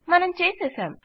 మనం చేసేసాం